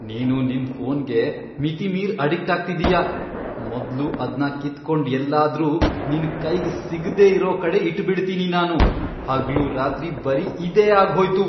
ನೀನು ನಿನ್ ಫೋನ್ಗೆ ಮಿತಿಮೀರ್ ಅಡಿಕ್ಟ್ ಆಗ್ತಿದೀಯ.. ಮೊದ್ಲು ಅದ್ನ ಕಿತ್ಕೊಂಡ್ ಎಲ್ಲಾದ್ರು ನಿನ್ ಕೈಗ್ ಸಿಗ್ದೆ ಇರೋ ಕಡೆ ಇಟ್ಬಿಡ್ತೀನಿ ನಾನು. ಹಗ್ಲೂ ರಾತ್ರಿ ಬರೀ ಇದೇ ಆಗ್ಹೋಯ್ತು.